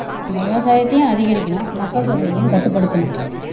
நம்ம விவசாயத்தையும் அதிகரிக்கணும் மக்கள் தொகையையும் கட்டுப்படுத்தணும்